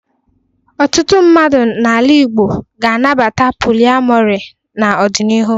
Ọtụtụ mmadụ n'ala Igbo ga-anabata poliamọrị n'ọdịnihu.